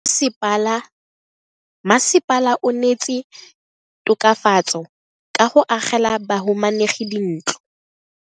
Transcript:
Mmasepala o neetse tokafatso ka go agela bahumanegi dintlo.